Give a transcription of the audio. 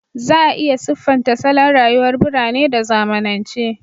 Za a iya siffanta salon rayuwar birane da zamanance